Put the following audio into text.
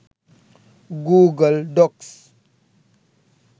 google docs